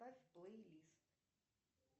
поставь плей лист